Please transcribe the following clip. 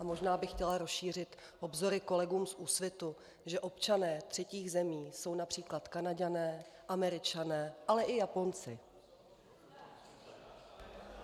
A možná bych chtěla rozšířit obzory kolegům z Úsvitu, že občané třetích zemí jsou například Kanaďané, Američané, ale i Japonci.